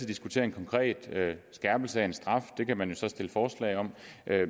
diskutere en konkret skærpelse af en straf det kan man jo stille forslag om